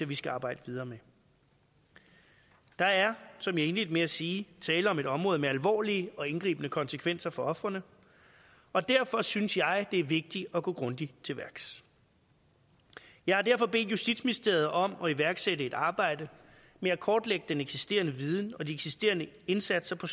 vi skal arbejde videre med der er som jeg indledte med at sige tale om et område med alvorlige og indgribende konsekvenser for ofrene og derfor synes jeg det er vigtigt at gå grundigt til værks jeg har derfor bedt justitsministeriet om at iværksætte et arbejde med at kortlægge den eksisterende viden og de eksisterende indsatser på